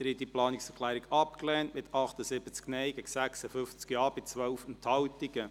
Sie haben diese Planungserklärung abgelehnt, mit 78 Nein- gegen 56 Ja-Stimmen bei 12 Enthaltungen.